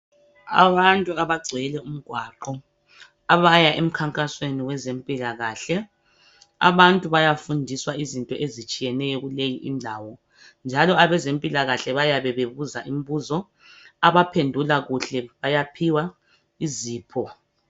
Abantu abagcwele umgwaqo abaya emkhankasweni wezempilakahle. Abantu bayafundiswa izinto ezitshiyeneyo kuleyi indawo njalo abezempilakahle bayabe bebuza imbuzo. Abaphendula kahle bayaphiwa izipho.